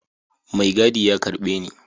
Mai gadi ya karbe Ni.